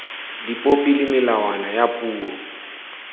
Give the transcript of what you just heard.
dipopi le melawana ya puo